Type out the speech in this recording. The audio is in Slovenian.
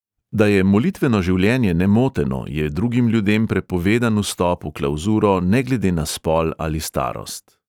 Da je molitveno življenje nemoteno, je drugim ljudem prepovedan vstop v klavzuro ne glede na spol ali starost.